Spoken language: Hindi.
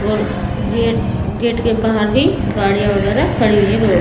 और गेट गेट के बाहर भी गाड़ियां वगैरह खड़ी हुई रोड।